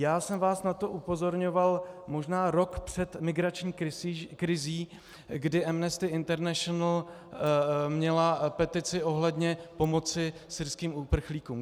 Já jsem vás na to upozorňoval možná rok před migrační krizí, kdy Amnesty International měla petici ohledně pomoci syrským uprchlíkům.